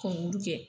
Kɔngɔli kɛ